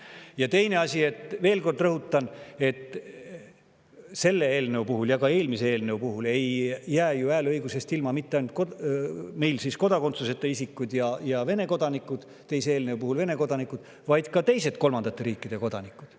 Ja teine asi, veel kord rõhutan, et selle eelnõu puhul ei jää meil hääleõigusest ilma mitte ainult kodakondsuseta isikud ja eelmise eelnõu puhul Vene kodanikud, vaid ka teised kolmandate riikide kodanikud.